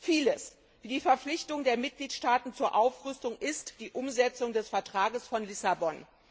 Vieles, wie die Verpflichtung der Mitgliedstaaten zur Aufrüstung, ist die Umsetzung des Vertrags von Lissabon.